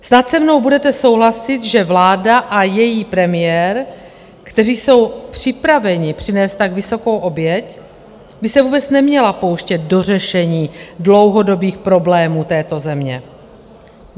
Snad se mnou budete souhlasit, že vláda a její premiér, kteří jsou připraveni přinést tak vysokou oběť, by se vůbec neměla pouštět do řešení dlouhodobých problémů této země.